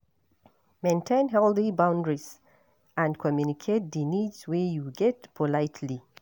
Maintain healthy boundries and communicate di needs wey you get politely